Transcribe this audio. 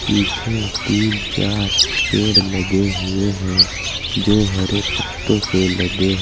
पीछे तीन चार पेड़ लगे हुए हैं जो हरे पत्तों से लदे हैं।